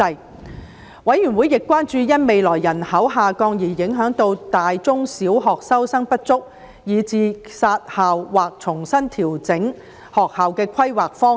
事務委員會亦關注到，因未來人口下降而影響到大學及中小學收生不足，以致要"殺校"或重新調整學校的規劃方向。